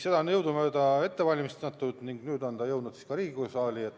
Seda on jõudumööda ette valmistatud ning nüüd on ta jõudnud ka Riigikogu saali.